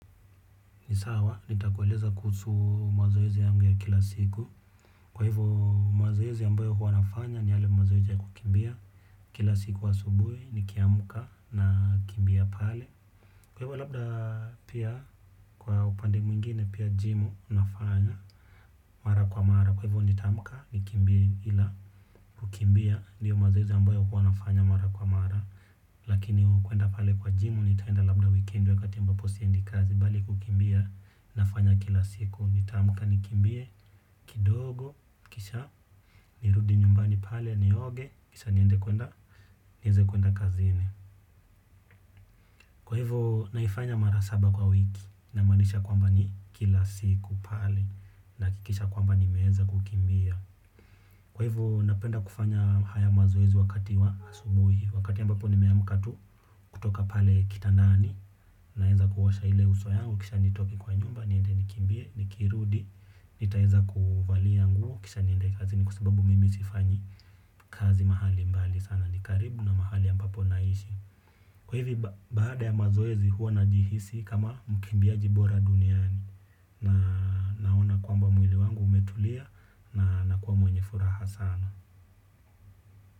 Nisawa, nitakueleza kuhusu mazoezi yangu ya kila siku. Kwa hivyo, mazoezi ambayo huwanafanya ni yale mazoezi ya kukimbia. Kila siku wa asubui niki amka na kimbia pale. Kwa hivyo, labda pia kwa upande mwingine, pia, jimu nafanya mara kwa mara. Kwa hivyo, nitamka ni kimbie ila kukimbia. Ndiyo mazoezi ambayo huwanafanya mara kwa mara. Lakini kuenda pale kwa jimu nitaenda labda weekend wakati ambapo siendi kazi bali kukimbia. Nafanya kila siku. Nita amka nikimbie, kidogo, kisha nirudi nyumbani pale, nioge kisha niende kuenda nieze kuenda kazini. Kwa hivo, naifanya marasaba kwa wiki. Na manisha kwamba ni, kila siku pale. Na kikisha kwamba nimeweza kukimbia. Kwa hivo napenda kufanya haya mazoezi wakati wa asubuhi. Wakati ambapo ni meamka tu, kutoka pale kitandani. Naeza kuosha ile uso yangu kisha nitoke kwa nyumba niende nikimbie, nikirudi, nitaeza kuvalia nguo, kisha niende kazini kwa sababu mimi sifanyi, kazi mahali mbali sana nikaribu na mahali ambapo naishi. Kwa hivi baada ya mazoezi huwa najihisi kama, mkimbiaji bora duniani. Na kwamba mwili wangu umetulia, na kua mwenye furaha sana.